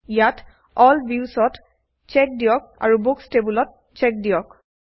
ইয়াত এল ভিউছ ত চ্চেক দিয়ক আৰু বুকচ্ টেবুলত চ্চেক দিয়ক